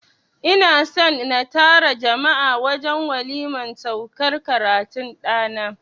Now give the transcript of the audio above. I na son na tara jama'a a wajen waliman saukar karatun ɗana.